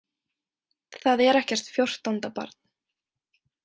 Það er ekkert fjórtánda barn.